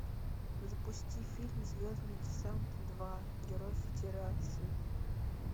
запусти фильм звездный десант два герой федерации